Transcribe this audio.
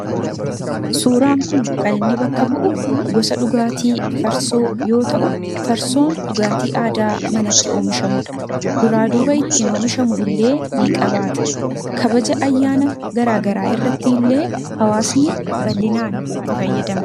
suuraan kun kan inni bakka bu'u gosa dhugaatii farsoo yoo ta'u farsoon dhugaatii aadaa manatti oomishamudha. duraa duba ittiin oomishamu illee ni qabaata. kabaja ayyaana garaagaraa irratti illee hawaasni bal'inaan itti fayyadamu.